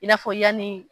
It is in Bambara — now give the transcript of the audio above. I n'a fɔ yani